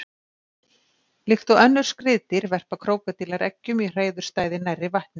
Líkt og önnur skriðdýr verpa krókódílar eggjum í hreiðurstæði nærri vatni.